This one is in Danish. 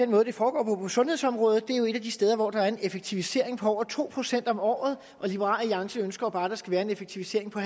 måde det foregår på på sundhedsområdet for det er jo et af de steder hvor der er en effektivisering på over to procent om året og liberal alliance ønsker jo bare at der skal være en effektivisering på